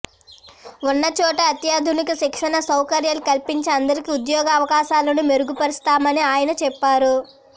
ఉన్నచోటే అత్యాధునిక శిక్షణా సౌకర్యాలు కల్పించి అందరికీ ఉద్యోగ అవకాశాలను మెరుగుపరుస్తామని ఆయన చెప్పారు